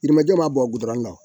Yirimajɔ ma bɔn gudɔrɔn kan